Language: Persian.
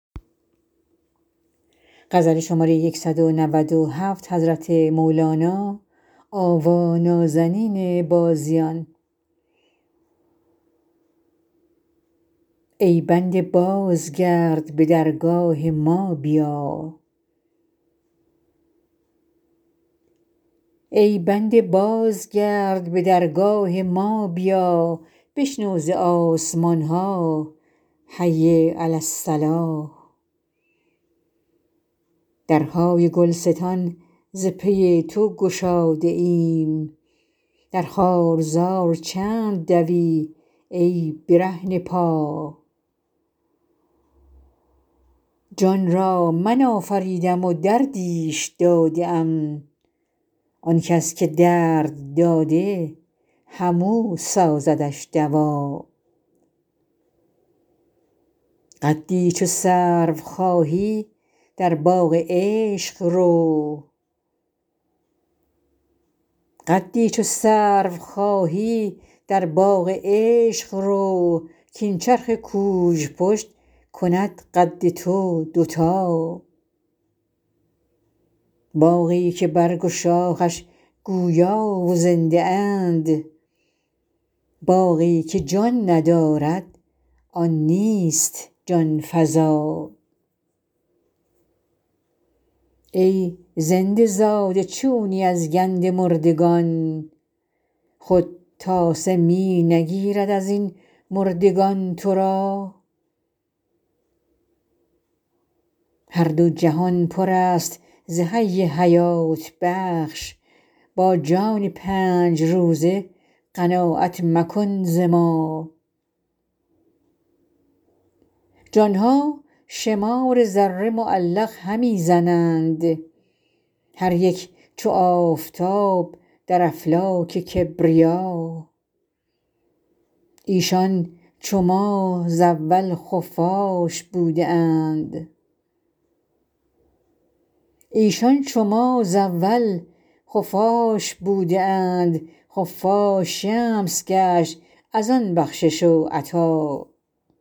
ای بنده بازگرد به درگاه ما بیا بشنو ز آسمان ها حی علی الصلا درهای گلستان ز پی تو گشاده ایم در خارزار چند دوی ای برهنه پا جان را من آفریدم و دردیش داده ام آن کس که درد داده همو سازدش دوا قدی چو سرو خواهی در باغ عشق رو کاین چرخ کوژپشت کند قد تو دوتا باغی که برگ و شاخش گویا و زنده اند باغی که جان ندارد آن نیست جان فزا ای زنده زاده چونی از گند مردگان خود تاسه می نگیرد از این مردگان تو را هر دو جهان پر است ز حی حیات بخش با جان پنج روزه قناعت مکن ز ما جان ها شمار ذره معلق همی زنند هر یک چو آفتاب در افلاک کبریا ایشان چو ما ز اول خفاش بوده اند خفاش شمس گشت از آن بخشش و عطا